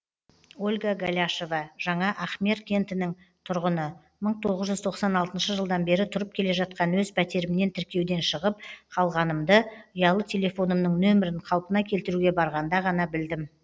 ольга голяшова жаңа ахмер кентінің тұрғыны мың тоғыз жүз тоқсан алтыншы жылдан бері тұрып келе жатқан өз пәтерімнен тіркеуден шығып қалғанымды ұялы телефонымның нөмірін қалпына келтіруге барғанда ғана білдім